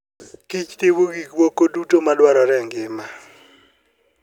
kich timo gik moko duto madwarore e ngima.